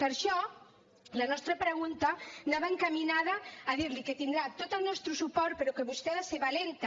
per això la nostra pregunta anava encaminada a dir li que tindrà tot el nostre suport però que vostè ha de ser valenta